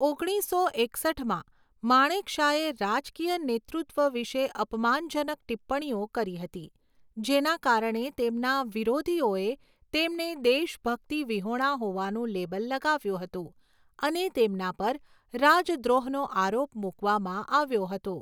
ઓગણીસો એકસઠમાં, માણેકશાએ રાજકીય નેતૃત્વ વિશે અપમાનજનક ટિપ્પણીઓ કરી હતી જેના કારણે તેમના વિરોધીઓએ તેમને દેશભક્તિ વિહોણા હોવાનું લેબલ લગાવ્યું હતું અને તેમના પર રાજદ્રોહનો આરોપ મૂકવામાં આવ્યો હતો.